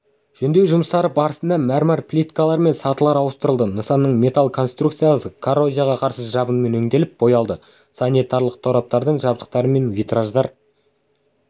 жөндеу жұмыстары барысында мәрмәр плиткалар мен сатылар ауыстырылды нысанның металл конструкциялары коррозияға қарсы жабынмен өңделіп боялды санитарлық тораптардың жабдықтары мен витраждар